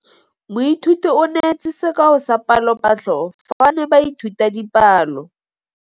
Moithuti o neetse sekaô sa palophatlo fa ba ne ba ithuta dipalo.